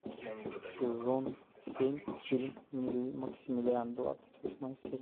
сезон семь фильм максимилиан двадцать восьмая серия